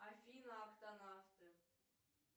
афина актонавты